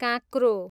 काँक्रो